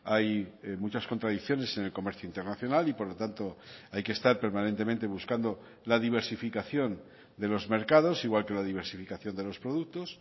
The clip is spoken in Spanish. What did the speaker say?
hay muchas contradicciones en el comercio internacional y por lo tanto hay que estar permanentemente buscando la diversificación de los mercados igual que la diversificación de los productos